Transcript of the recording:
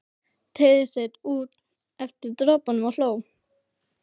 Teygði sig út eftir dropunum og hló.